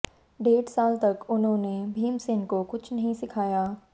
डेढ़ साल तक उन्होंने भीमसेन को कुछ नहीं सिखाया